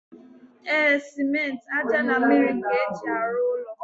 E, simenti, aja na mmiri ka eji aru ụlọ.